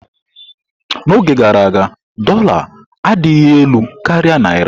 N'oge gara aga, dórla adịghị elu karịa Naira.